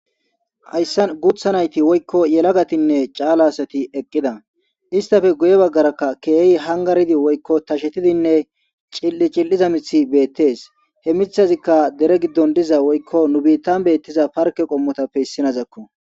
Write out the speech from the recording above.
Hayasin guthay nayti woykko yelagatiyne cal'a asati eqqiday isssatappe guye bagara kehi hangaridi woyoko tashetidey cil'i cilizay mithey beteysi he mithayizikay bita bolla deyi pareketape issinoko.